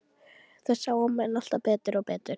Það sáu menn alltaf betur og betur.